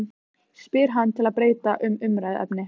spyr hann til að breyta um umræðuefni.